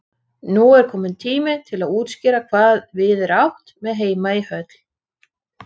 Hann var svo siðaður og kunni ekkert að leika við svona litla kjána.